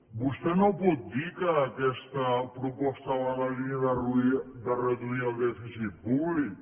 vostè no pot dir que aquesta proposta va en la línia de reduir el dèficit públic